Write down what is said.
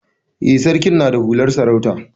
Eh, sarkin na da hular sarauta.